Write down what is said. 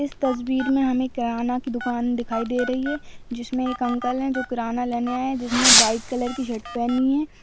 इस तस्वीर में हमें किराना की दुकान दिखाई दे रही है जिसमे एक अंकल हैं जो किराना लेने आये है जिसने वाइट कलर की शर्ट पहनी है।